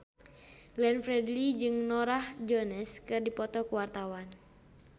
Glenn Fredly jeung Norah Jones keur dipoto ku wartawan